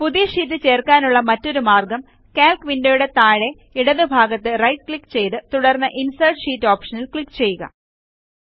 പുതിയ ഷീറ്റ് ചേർക്കാനുള്ള മറ്റൊരു മാർഗ്ഗം കാൽക്ക് വിൻഡോ യുടെ താഴെ ഇടതുഭാഗത്ത് റൈറ്റ് ക്ലിക്ക് ചെയ്ത് തുടർന്ന് ഇൻസെർട്ട് ഷീറ്റ് ഓപ്ഷനിൽ ക്ലിക്ക് ചെയ്യുക